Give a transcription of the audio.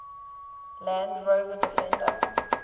land rover defender